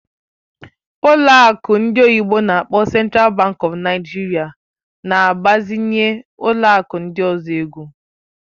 Ụlọ akụ ndị oyibo n'akpọ Central Bank of Nigeria na-agbazinye ụlọ akụ ndị ọzọ ego.